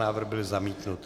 Návrh byl zamítnut.